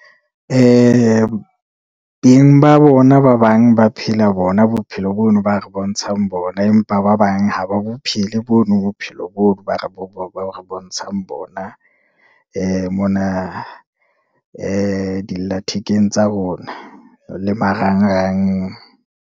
Ba bona ba bang ba phela bona bophelo bono ba re bontshang bona, empa ba bang ha ba bophele, bono bophelo bono ba re bontshang bona. Mona dilla thekeng tsa bona le marangrang.